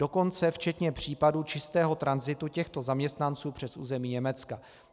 Dokonce včetně případů čistého tranzitu těchto zaměstnanců přes území Německa.